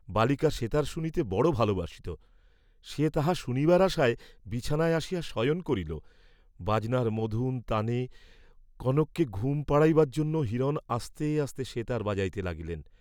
বালিকা সেতার শুনিতে বড় ভালবাসিত, সে তাহা শুনিবার আশায় বিছানায় আসিয়া শয়ন করিল, বাজনার মধুর তানে কনককে ঘুম পাড়াইবার জন্য হিরণ আস্তে আস্তে সেতার বাজাইতে লাগিলেন।